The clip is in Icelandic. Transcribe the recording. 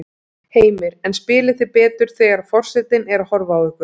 Heimir: En spilið þið betur þegar að forsetinn er að horfa á ykkur?